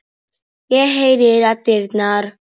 Búinn dagur.